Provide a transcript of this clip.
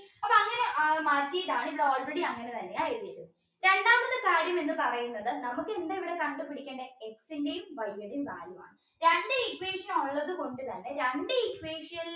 അങ്ങനെ ആ മാറ്റിയിട്ടാണ് ഇവിടെ already അങ്ങനെ തന്നെ എഴുതിയത് രണ്ടാമത് കാര്യം എന്ന് പറയുന്നത് നമുക്ക് എന്താ ഇവിടെ കണ്ടുപിടിക്കേണ്ടത് X ഇൻറെയും Y ഉടെയു കാര്യമാണ് രണ്ട് equation ഉള്ളതുകൊണ്ടുതന്നെ രണ്ട് equation ലും